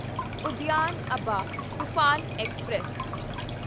Udyan Abha Toofan express